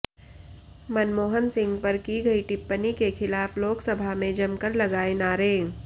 मनमोहन सिंह पर की गई टिप्पणी के खिलाफ लोकसभा में जमकर लगाए नारे